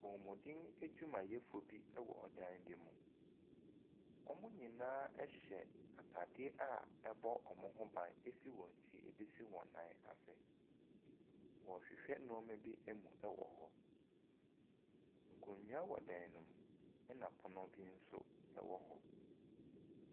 Apɔmuden adwumayɛfoɔ bi wɔ dan bi mu. Wɔn nyinaa hyɛ ataadeɛ a ɛbɔ wɔn ho ban firi wɔn ti bɛsi wɔn nan ase. Wɔrehwɛ nneɛma bi mu wɔ hɔ. nkonnwa wɔ dan ne mu na pono bi nso wɔ hɔ.